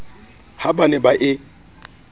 ha ba ne ba e